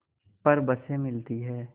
पर बसें मिलती हैं